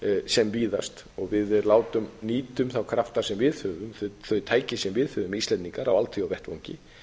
sem víðast og við nýtum þá krafta sem við höfum þau tæki sem við höfum íslendingar á alþjóðavettvangi